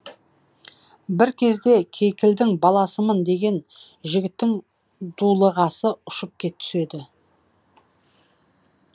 бір кезде кейкілдің баласымын деген жігіттің дулығасы ұшып түседі